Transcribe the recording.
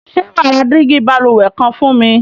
Sé wàá ra dígí balùwè kan fún mi?